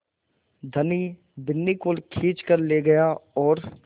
धनी बिन्नी को खींच कर ले गया और